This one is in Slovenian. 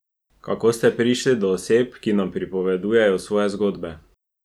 Kako ste prišli do oseb, ki nam pripovedujejo svoje zgodbe?